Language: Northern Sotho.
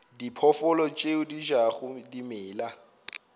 diphoofolo tše di jago dimela